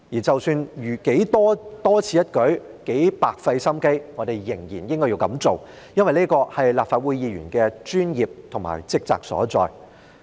即使如何的多此一舉或白費心機，我們仍然應該這樣做，因為這是立法會議員的專業和職責所在。